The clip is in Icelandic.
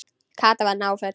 Kata var náföl.